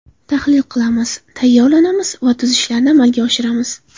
Tahlil qilamiz, tayyorlanamiz va tuzatishlarni amalga oshiramiz.